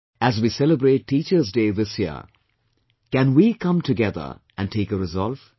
As we celebrate Teacher's Day this year can we come together and take a resolve